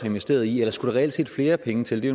investeret i eller skulle der reelt set flere penge til det